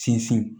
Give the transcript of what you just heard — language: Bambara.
Sinsin